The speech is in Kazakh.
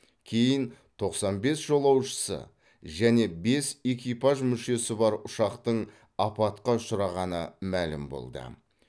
кейін тоқсан бес жолаушысы және бес экипаж мүшесі бар ұшақтың апатқа ұшырағаны мәлім болды